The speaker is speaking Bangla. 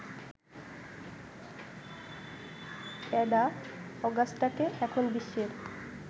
অ্যাডা অগাস্টাকে এখন বিশ্বের